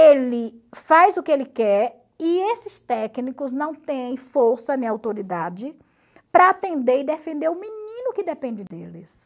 Ele faz o que ele quer e esses técnicos não têm força nem autoridade para atender e defender o menino que depende deles.